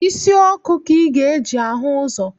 Isi ọkụ ka ị ga-eji ahụ ụzọ